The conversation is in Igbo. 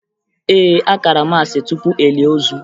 Ee, a kara maasị tupu e lie ozu